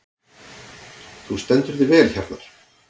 Þú stendur þig vel, Hjarnar!